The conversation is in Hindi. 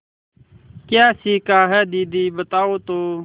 क्या सीखा है दीदी बताओ तो